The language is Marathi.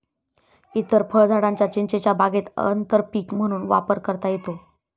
इतर फळझाडांचा चिंचेच्या बागेत आंतरपीक म्हणून वापर करता येतो.